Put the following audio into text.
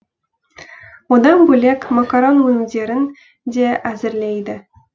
одан бөлек макарон өнімдерін де әзірлейді